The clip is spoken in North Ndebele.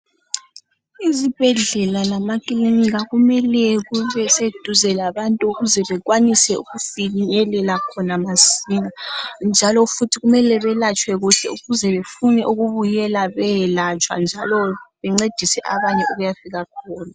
Izibhedlela lama kilinika kumele kube seduzane labantu ukuze bekwanise ukufinyelela khona masinya. Njalo futhi kumele belatshwe kuhle ukuze bafune ukubuyela bayelatshwa, njalo bencedise abanye abayabe befuna ukuya fika khona.